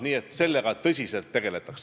Nii et sellega tõsiselt tegeletakse.